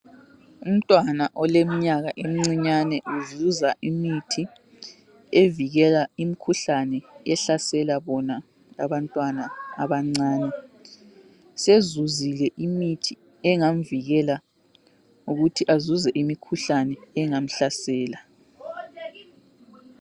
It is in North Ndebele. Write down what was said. Umntwana oleminyaka emincinyane uzuza imithi, evikela imkhuhlane ehlasela bona abantwana abancane. Sezuzile imithi engamvikela ukuthi azuze imikhuhlane engamhlasela.